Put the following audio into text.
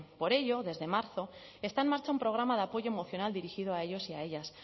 por ello desde marzo está en marcha un programa de apoyo emocional dirigido a ellos y a ellas